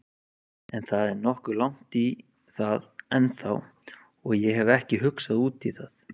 En það er nokkuð langt í það ennþá og ég hef ekki hugsað útí það.